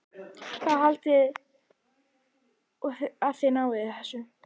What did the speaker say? Hvað haldið þið að þið náið þessu?